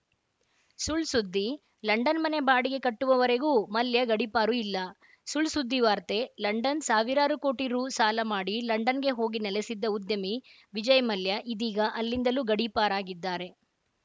ಸುಳ್‌ ಸುದ್ದಿ ಲಂಡನ್‌ ಮನೆ ಬಾಡಿಗೆ ಕಟ್ಟುವವರೆಗೂ ಮಲ್ಯ ಗಡೀಪಾರು ಇಲ್ಲ ಸುಳ್‌ಸುದ್ದಿ ವಾರ್ತೆ ಲಂಡನ್‌ ಸಾವಿರಾರು ಕೋಟಿ ರು ಸಾಲಮಾಡಿ ಲಂಡನ್‌ಗೆ ಹೋಗಿ ನೆಲೆಸಿದ್ದ ಉದ್ಯಮಿ ವಿಜಯ್‌ ಮಲ್ಯ ಇದೀಗ ಅಲ್ಲಿಂದಲೂ ಗಡೀಪಾರಾಗಿದ್ದಾರೆ